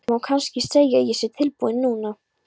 Það má kannski segja að ég sé tilbúin núna.